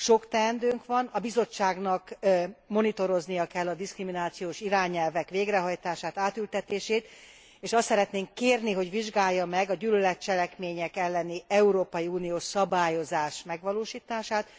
Sok teendőnk van a Bizottságnak monitoroznia kell a diszkriminációs irányelvek végrehajtását, átültetését, és azt szeretnénk kérni, hogy vizsgálja meg a gyűlöletcselekmények elleni európai uniós szabályozás megvalósítását.